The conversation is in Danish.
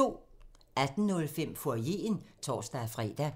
18:05: Foyeren (tor-fre)